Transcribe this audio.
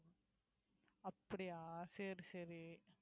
அப்படியா சரி சரி